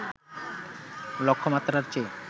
লক্ষ্যমাত্রার চেয়ে